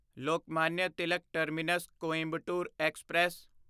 Lokmanya Tilak terminus Coimbatore express